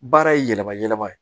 Baara ye yɛlɛma yɛlɛma ye